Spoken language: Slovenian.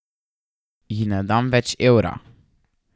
Ji ne dam več evra.